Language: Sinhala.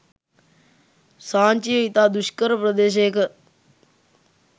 සාංචිය ඉතා දුෂ්කර ප්‍රදේශයක